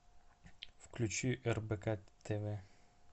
включи рбк тв